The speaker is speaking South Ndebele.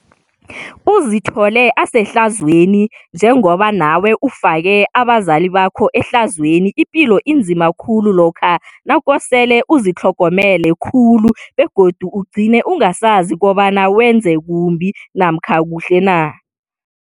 Uzithole usehlazweni nje ngoba nawe ufake abazali bakho ehlazweni ipilo inzima khulu lokha nakosele uzitlhogomele khulu begodu ugcine ungasazi kobana wenze kumbi namkana kuhle na.